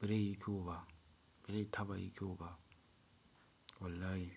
beren yi kyau ba beren yi taba yayi kyau ba. Wallahi.